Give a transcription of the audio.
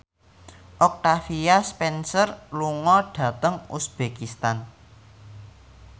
Octavia Spencer lunga dhateng uzbekistan